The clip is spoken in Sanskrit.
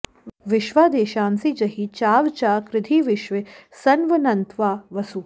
विश्वा द्वेषांसि जहि चाव चा कृधि विश्वे सन्वन्त्वा वसु